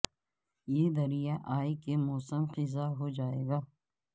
یہ دریا اے کے موسم خزاں ہو جائے گا